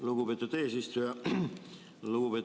Lugupeetud eesistuja!